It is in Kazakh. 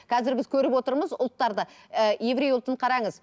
қазір біз көріп отырмыз ұлттарды ііі еврей ұлтын қараңыз